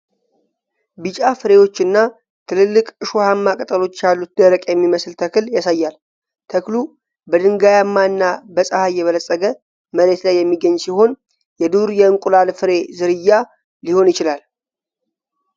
ቢጫ ፍሬዎች እና ትልልቅ እሾሃማ ቅጠሎች ያሉት ደረቅ የሚመስል ተክል ያሳያል። ተክሉ በድንጋያማ እና በፀሐይ የበለፀገ መሬት ላይ የሚገኝ ሲሆን የዱር የእንቁላል ፍሬ ዝርያ ሊሆን ይችላል?